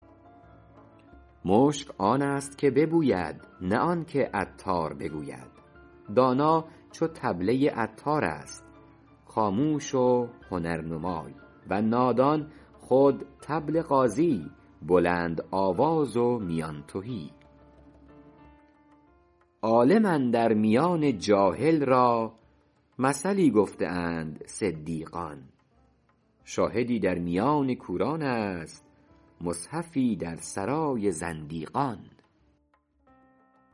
مشک آن است که ببوید نه آن که عطار بگوید دانا چو طبله عطار است خاموش و هنرنمای و نادان خود طبل غازی بلندآواز و میان تهی عالم اندر میان جاهل را مثلی گفته اند صدیقان شاهدی در میان کوران است مصحفی در سرای زندیقان